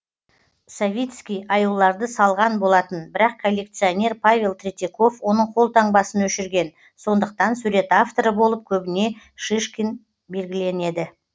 савицкий аюларды салған болатын бірақ коллекционер павел третьяков оның қолтаңбасын өшірген сондықтан сурет авторы болып көбіне шишкин белгіленеді